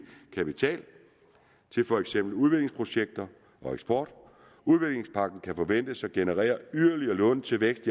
kapital til for eksempel udviklingsprojekter og eksport udviklingspakken kan forventes at generere yderligere lån til vækst